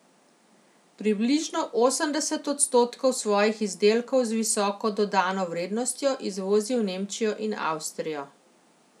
Približno osemdeset odstotkov svojih izdelkov z visoko dodano vrednostjo izvozi v Nemčijo in Avstrijo.